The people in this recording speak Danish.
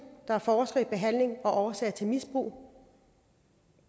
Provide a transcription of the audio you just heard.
der forsker i behandling og årsager til misbrug